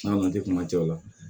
N'a man di kuma cɛ o la